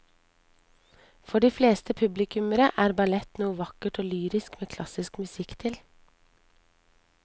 For de fleste publikummere er ballett noe vakkert og lyrisk med klassisk musikk til.